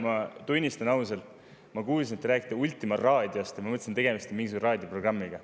Ma tunnistan ausalt, et ma kuulsin, et te räägite Ultima raadiost, ja ma mõtlesin, et tegemist on mingisuguse raadioprogrammiga.